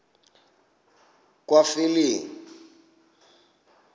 kwaphilingile